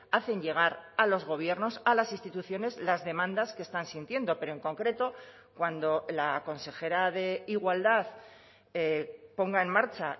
hacen llegar a los gobiernos a las instituciones las demandas que están sintiendo pero en concreto cuando la consejera de igualdad ponga en marcha